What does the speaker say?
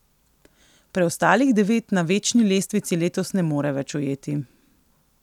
Preostalih devet na večni lestvici letos ne more več ujeti.